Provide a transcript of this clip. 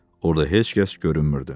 Orda heç kəs görünmürdü.